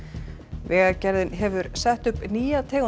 vegagerðin hefur sett upp nýja tegund